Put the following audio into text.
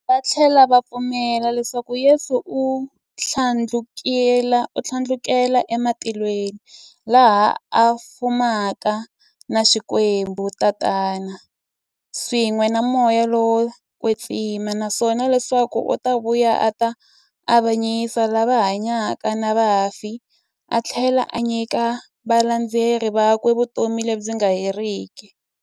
Vathlela va pfumela leswaku Yesu u thlandlukele e matilweni, laha a fumaka na Xikwembu Tatana, swin'we na Moya lowo kwetsima, naswona leswaku u ta vuya a ta avanyisa lava hanyaka na vafi athlela a nyika valandzeri vakwe vutomi lebyi nga heriki.